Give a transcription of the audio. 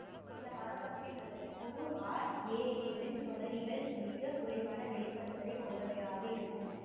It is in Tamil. சில மரபணுவின் அல்லது குறு ஆர்எஏ வின் தொடரிகள் மிக குறைவான வெளிபடுதலை கொண்டவையாக இருக்கும்